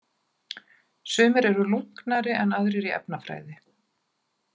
Sumir eru lunknari en aðrir í efnafræði.